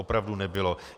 Opravdu nebylo.